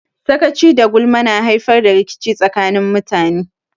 Sakaci da gulma na haifar da rikici tsakanin mutane.